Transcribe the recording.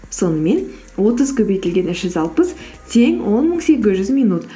сонымен отыз көбейтілген үш жүз алпыс тең он мың сегіз жүз минут